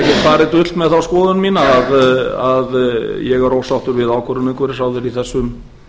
farið dult með þá skoðun mína að ég er ósáttur við ákvörðun umhverfisráðherra í þessum